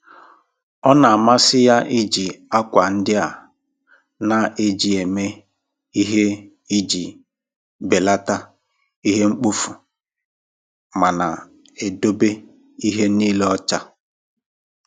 Ọ na-amasị ya iji akwa ndị a na-eji eme ihe iji belata ihe mkpofu ma na-edobe ihe niile ọcha.